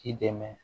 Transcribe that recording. K'i dɛmɛ